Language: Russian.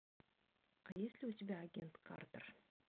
а есть ли у тебя агент картер